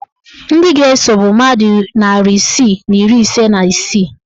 Ndị ga-eso bụ mmadụ narị isii na iri ise na isii